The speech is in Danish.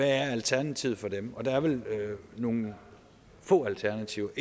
er alternativet for dem og der er vel nogle få alternativer